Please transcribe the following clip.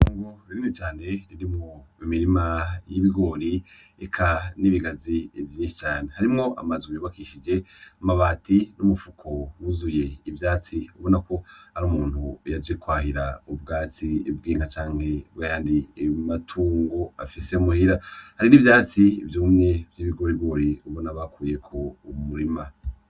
Kgo birimi cane riri mo imirima y'ibigori eka n'ibigazi vyinshi cane harimwo amazwe yubakishije amabati n'umupfuko wuzuye ivyatsi ubona ko ari umuntu yaje kwahira ubwatsi ibwinka canke bahari imatungo afise muhira hari n'ivyatsi vyoumwe ibigore bw'uri ubona bakuye ku umurima.